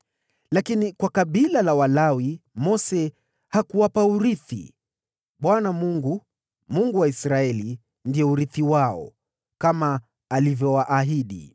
Lakini kwa kabila la Walawi, Mose hakuwapa urithi; Bwana Mungu, Mungu wa Israeli ndiye urithi wao, kama alivyowaahidi.